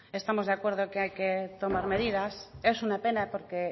estamos de acuerdo que hay que tomar medidas es una pena porque